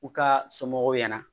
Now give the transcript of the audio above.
U ka somɔgɔw ɲɛna